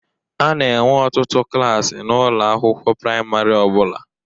A na-enwe ọtụtụ klaasị n'ụlọ akwụkwọ praịmarị ọ bụla.